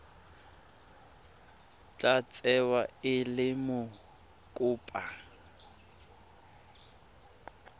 tla tsewa e le mokopa